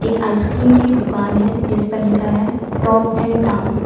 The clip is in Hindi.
आइसक्रीम की दुकान है जिस पर लिखा है टॉप एंड टाउन ।